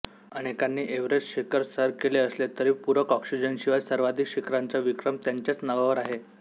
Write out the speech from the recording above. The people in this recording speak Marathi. अनेकांनी एव्हरेस्ट शिखर सर केले असले तरी पूरक ऑक्सिजनशिवाय सर्वाधिक शिखरांचा विक्रम त्यांच्याच नावावर आहे